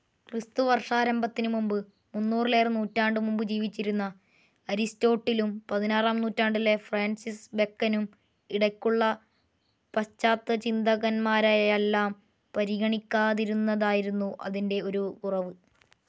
ക്രിസ്തുവർഷാരംഭത്തിനു മൂന്നിലേറെനൂറ്റാണ്ടുമുമ്പ് ജീവിച്ചിരുന്ന അരിസ്റ്റോട്ടിലും പതിനാറാം നൂറ്റാണ്ടിലെ ഫ്രാൻസിസ് ബെക്കനും ഇടയ്ക്കുള്ള പാശ്ചാത്യചിന്തകന്മാരെയെല്ലാം പരിഗണിക്കാതിരുന്നതായിരുന്നു അതിൻ്റെ ഒരു കുറവ്.